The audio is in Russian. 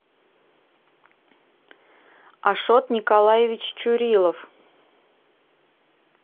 ашот николаевич чурилов